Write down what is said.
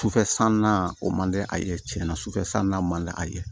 Sufɛ san na o man di a ye tiɲɛ na sufɛ san na man di a ye